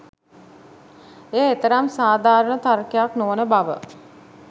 එය එතරම් සාධාරණ තර්කයක් නොවන බව